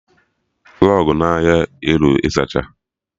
Rọgụ n'ahịa arụ ịzacha